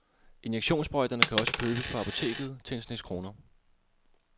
Injektionssprøjterne kan også købes på apoteket til en snes kroner.